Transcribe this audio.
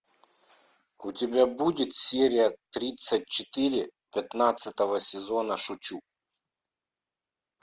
у тебя будет серия тридцать четыре пятнадцатого сезона шучу